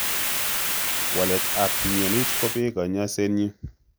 Walet ap mnyonit kopee kanyaiset nyi.